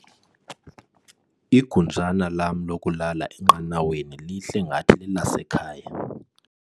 Igunjana lam lokulala enqanaweni lihle ngathi lelasekhaya.